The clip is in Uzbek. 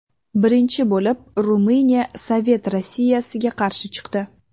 Birinchi bo‘lib Ruminiya Sovet Rossiyasiga qarshi chiqdi.